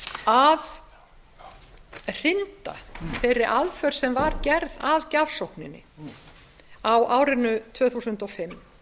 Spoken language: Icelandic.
að hrinda þeirri aðför sem var gerð að gjafsókninni á árinu tvö þúsund og fimm